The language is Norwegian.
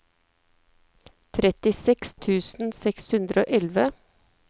trettiseks tusen seks hundre og elleve